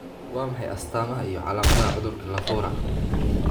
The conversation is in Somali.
Waa maxay astaamaha iyo calaamadaha cudurka Lafora?